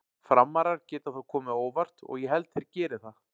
Frammarar geta þó komið á óvart og ég held þeir geri það.